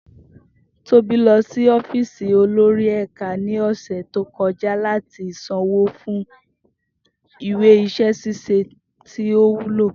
Tobi lọ si ọfíìsì olori ẹka ni ọsẹ to kọja lati sanwo fun iwe iṣẹ ṣiṣe ti o wulo.